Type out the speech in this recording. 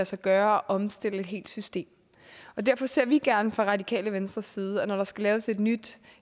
sig gøre at omstille et helt system derfor ser vi gerne fra radikale venstres side at man når der skal laves et nyt